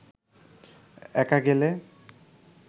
একা গেলে